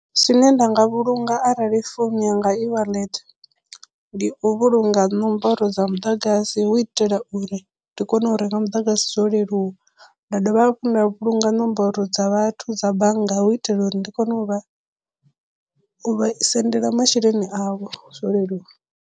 Zwine nda nga vhulunga arali founu yanga i wallet ndi u vhulunga ṋomboro dza muḓagasi hu itela uri ndi kone u renga muḓagasi zwo leluwa nda dovha hafhu nda vhulunga ṋomboro dza vhathu dza bannga hu itela uri ndi kone u vha u vha sendela masheleni avho zwo leluwa.